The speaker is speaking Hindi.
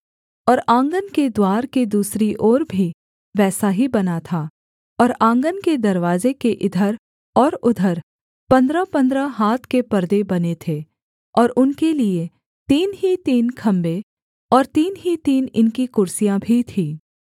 और आँगन के द्वार के दूसरी ओर भी वैसा ही बना था और आँगन के दरवाजे के इधर और उधर पन्द्रहपन्द्रह हाथ के पर्दे बने थे और उनके लिये तीन ही तीन खम्भे और तीन ही तीन इनकी कुर्सियाँ भी थीं